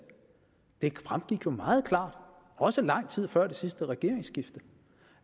det fremgik jo meget klart også lang tid før det sidste regeringsskifte